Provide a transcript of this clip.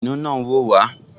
Kìnìún náà n wò wá